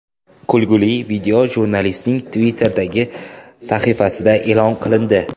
Kulgili video jurnalistning Twitter’dagi sahifasida e’lon qilindi .